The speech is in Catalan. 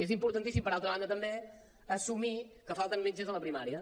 és importantíssim per altra banda també assumir que falten metges a la primària